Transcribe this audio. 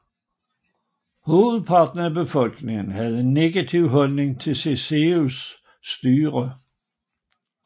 Hovedparten af befolkningen havde en negativ holdning til Ceaușescus styre